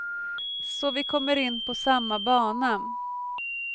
Så vi kommer in på samma bana.